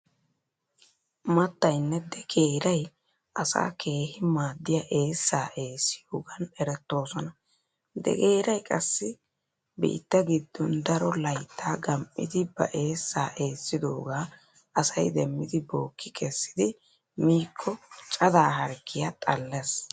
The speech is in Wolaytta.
Mattaynne degeeray asaa keehi maaddiya eessaa eessiyogaan erettoosona. Degeeray qassi biitta giddon daro laytta gam"idi ba eessaa eessidoogaa asay demmidi bookki kessidi miikko cadaa harggiyaa xallees.